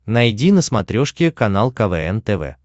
найди на смотрешке канал квн тв